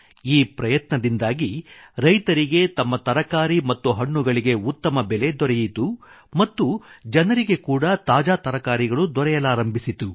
ಈ ಪ್ರಯತ್ನದಿಂದಾಗಿ ರೈತರಿಗೆ ತಮ್ಮ ತರಕಾರಿ ಮತ್ತು ಹಣ್ಣುಗಳಿಗೆ ಉತ್ತಮ ಬೆಲೆ ದೊರೆಯಿತು ಮತ್ತು ಜನರಿಗೆ ಕೂಡಾ ತಾಜಾ ತರಕಾರಿಗಳು ದೊರೆಯಲಾರಂಭಿಸಿತು